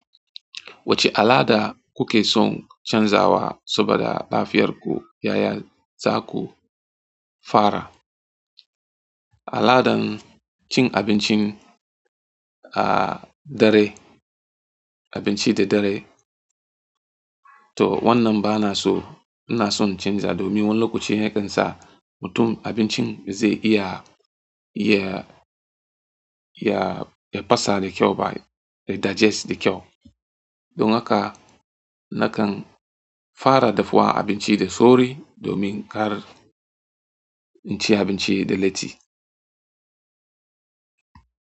Wacce al'ada kuke son canzawa saboda lafiyarku yaya za ku fara al'adan cin abincin a dare, abinci da dare? To wannan bana so. Ina son canza domin wanni lokuci yakan sa mutum abincin zai iya, iya, iya, ya pasa da kyau ba, ya digest da kyau. Don haka nakan fara dahuwa abinci da sauri domin kar inci abinci da latti.